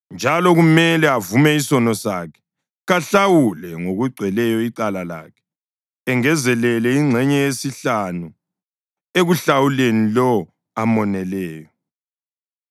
njalo kumele avume isono sakhe. Kahlawule ngokugcweleyo icala lakhe, engezelele ingxenye yesihlanu ekuhlawuleni lowo amoneleyo.